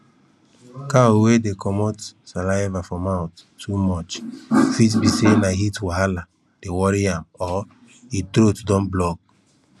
cow wey dey comot saliva for mouth too much fit be say na heat wahala dey worry am or e throat don block